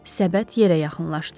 Səbət yerə yaxınlaşdı.